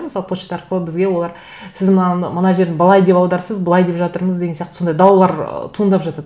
мысалы почта арқылы бізге олар сіз мынаны мына жерді былай деп аударыпсыз былай деп жатырмыз деген сияқты сондай даулар ы туындап жатады